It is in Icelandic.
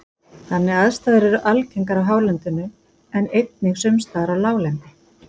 þannig aðstæður eru algengar á hálendinu en einnig sums staðar á láglendi